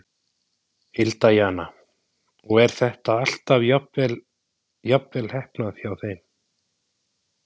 Hilda Jana: Og er þetta alltaf jafnvel heppnað hjá þeim?